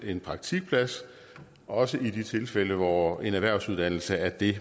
en praktikplads også i de tilfælde hvor en erhvervsuddannelse er det